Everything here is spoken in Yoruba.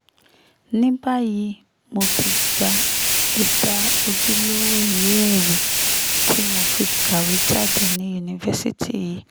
ní báyìí mo ti gba ẹ̀dà ojúlówó ìwé-ẹ̀rí tí mo fi kàwé jáde ní yunifásitì yìí